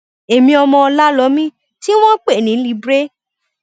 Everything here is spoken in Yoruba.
èmi ọmọ ọlámọmí tí wọn ń pè ní libre